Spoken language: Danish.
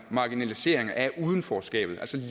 marginalisering af udenforskabet